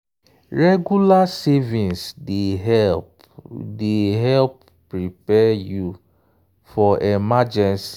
regular savings dey help dey help prepare you for emergency.